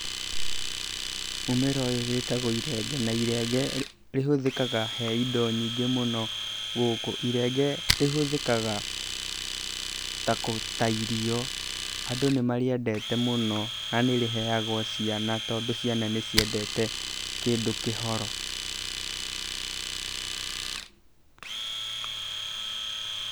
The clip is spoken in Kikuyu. Mũmera ũyũ wĩtagwo irenge na irenge rĩhũthĩkaga he indo nyingĩ mũno gũkũ. Irenge rĩhũthĩkaga ta irio, andũ nĩ marĩendete mũno na nĩ rĩheagwo ciana tondũ ciana nĩ ciendete kĩndũ kĩhoro.